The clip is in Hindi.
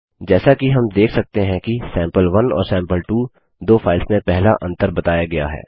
जैसा कि हम देख सकते हैं कि सैंपल1 और सैंपल2 दो फाइल्स में पहला अंतर बताया गया है